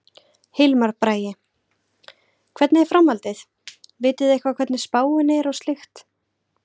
Hilmar Bragi: Hvernig er framhaldið, vitið þið eitthvað hvernig spáin er og slíkt?